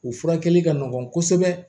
U furakɛli ka nɔgɔn kosɛbɛ